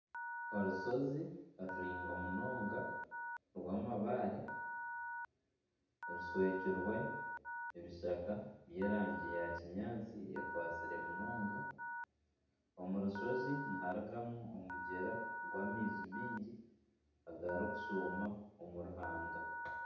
Orushozi ruraingwa munonga rw'amabaare rushwekirwe ebishaka by'erangi ya kinyatsi ekwatsire munonga omu rushozi niharugwamu omugyera gw'amaizi maingi agari kushuuma omu ruhanga.